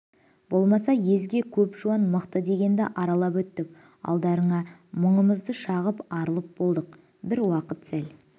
болмаса езге көп жуан мықты дегенді аралап өттік алдарына мұңымызды шағып арылып болдық бір уақыт сәл